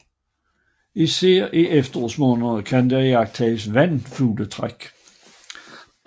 Især i efterårsmånederne kan her iagttages vandfugletræk